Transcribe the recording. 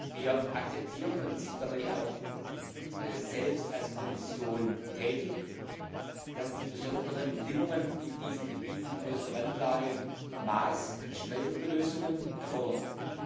Wir akzeptieren und sind dabei auch selbst als Kommission tätig, dass die besonderen Bedingungen in diesen Gebieten in äußerster Randlage maßgeschneiderte Lösungen erfordern.